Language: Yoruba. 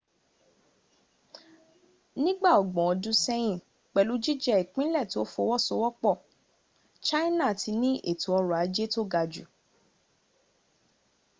nígbà ọgbọ̀n ọdún sẹ́yìn, pẹ̀lú jíjẹ́ ìpínlẹ̀ tó fọwọ́sowọ́pọ̀ china ti ní ètò ọrọ̀ ajé tó ga jù